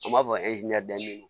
An b'a fɔ